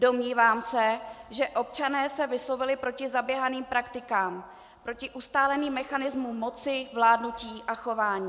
Domnívám se, že občané se vyslovili proti zaběhaným praktikám, proti ustáleným mechanismům moci, vládnutí a chování.